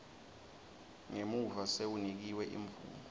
ngemuva sewunikwe imvumo